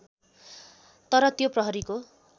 तर त्यो प्रहरीको